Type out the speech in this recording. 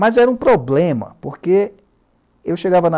Mas era um problema, porque eu chegava na